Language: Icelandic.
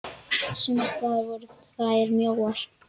Sums staðar voru þær mjóar.